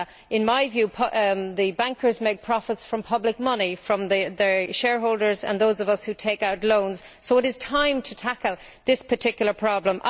In my view, bankers make profits from public money, from their shareholders and those of us who take out loans, so it is time to tackle this particular problem.